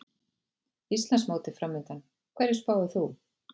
Íslandsmótið framundan, hverju spáir þú?